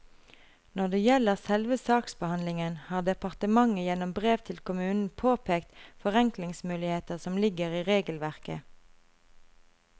Når det gjelder selve saksbehandlingen, har departementet gjennom brev til kommunene påpekt forenklingsmuligheter som ligger i regelverket.